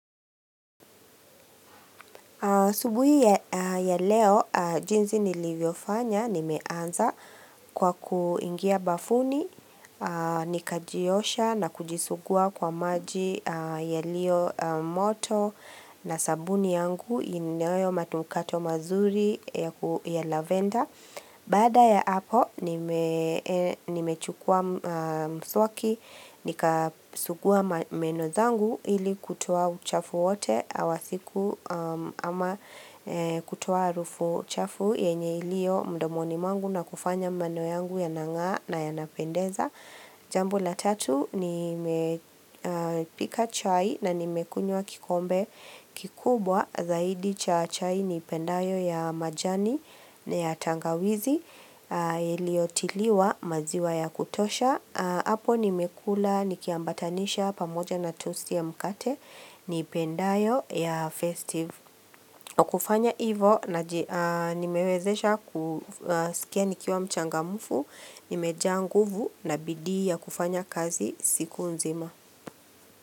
Asubuhi ya leo, jinzi nilivyofanya, nimeanza kwa kuingia bafuni, nikajiosha na kujisugua kwa maji yalio moto na sabuni yangu, inayo manukato mazuri ya lavender. Baada ya hapo nimechukua mswaki nikasugua meno zangu ili kutoa uchafu wote wa siku ama kutoa harufu chafu yenye ilio mdomoni mwangu na kufanya meno yangu yanang'aa na yanapendeza. Jambo la tatu nilipika chai na nimekunywa kikombe kikubwa zaidi cha chai niipendayo ya majani na ya tangawizi iliotiliwa maziwa ya kutosha. Apo nimekula nikiambatanisha pamoja na tosti ya mkate niipendayo ya festive. Kufanya hivo nimewezesha kusikia nikiwa mchangamufu, nimejaa nguvu na bidii ya kufanya kazi siku nzima.